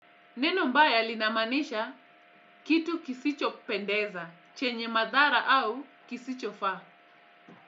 Neno mbaya linamanisha kitu kisicho pendeza, chenye madhara au kisicho faa.